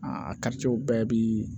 Aa a bɛɛ bi